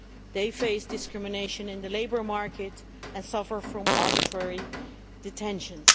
They face discrimination in the labour market and suffer from arbitrary detentions.